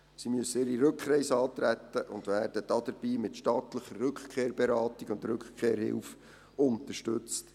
Sie müssen ihre Rückreise antreten und werden dabei mit staatlicher Rückkehrberatung und Rückkehrhilfe unterstützt.